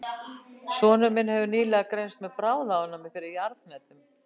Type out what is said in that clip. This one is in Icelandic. Sonur minn hefur nýlega greinst með bráðaofnæmi fyrir jarðhnetum.